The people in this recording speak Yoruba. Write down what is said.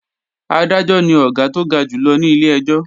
Adájọ́ ni Ọ̀gá tó ga jù lọ ní ilé-ẹjọ́